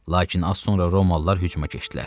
Lakin az sonra romalılar hücuma keçdilər.